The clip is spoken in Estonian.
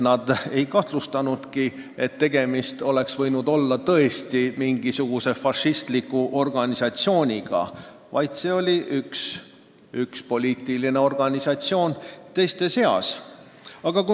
Nad ei arvanud, et tegemist oli fašistliku organisatsiooniga – see oli lihtsalt üks poliitiline organisatsioon teiste seas.